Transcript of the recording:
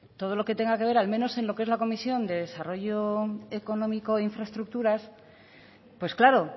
todo lo que tenga que ver al menos en lo que es la comisión de desarrollo económico e infraestructuras pues claro